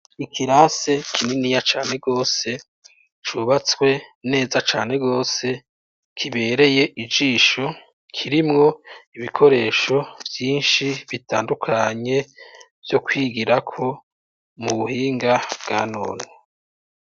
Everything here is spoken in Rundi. Ikirase kininiya cane gose cubatswe neza cane gose kibereye ijisho kirimwo ibikoresho vyinshi bitandukanye vyo kwigirako mu buhinga bwa none.